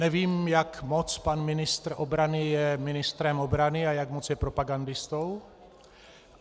Nevím, jak moc pan ministr obrany je ministrem obrany a jak moc je propagandistou.